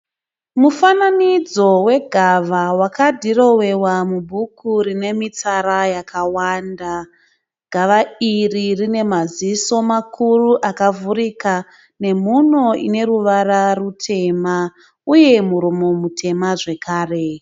Mufananidzo wegava wakadhirowewa mubhuku rine mitsara yakawanda. Gava iri rine maziso makuru akavhurika nemhuno one ruvara rutema uye muromo mutema zvekare